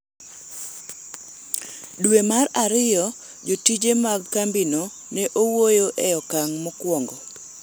dwe mar ariyo, jotije mag kambino ne owuoyo e okang' mokwongo